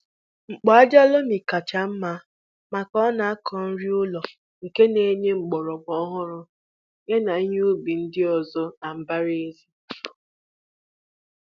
Mkpu ájá lomi kà chá mmá maka a na-aku nri ulo nke n'enye mgbọrọgwụ ọhụrụ ya na ihe ubi ndị ọzọ na mbara ézì